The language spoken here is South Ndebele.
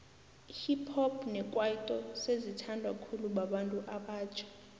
ihip hop nekwaito sezi thandwa khulu babantu abatjha